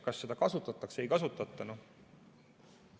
Kas seda kasutatakse või ei kasutata?